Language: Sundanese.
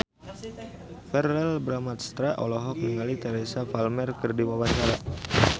Verrell Bramastra olohok ningali Teresa Palmer keur diwawancara